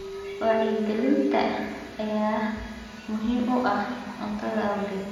Wacyigelinta ayaa muhiim u ah cuntada awgeed.